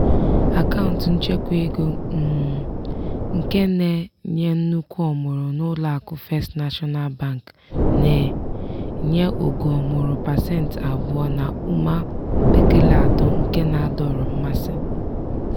akaụntụ nchekwaego um nke na-enye nnukwu ọmụrụ n'ụlọakụ first national bank na-enye ogo ọmụrụ pasentị abụọ na ụma mpekele atọ nke na-adọrọ mmasị.